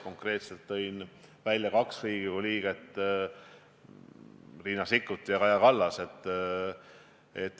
Konkreetselt tõin välja kaks Riigikogu liiget, Riina Sikkuti ja Kaja Kallase.